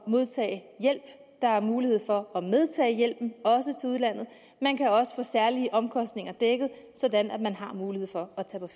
modtage hjælp der er mulighed for at medtage hjælpen også til udlandet og man kan også få særlige omkostninger dækket så man har mulighed for